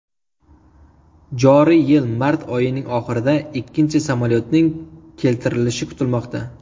Joriy yil mart oyining oxirida ikkinchi samolyotning keltirilishi kutilmoqda.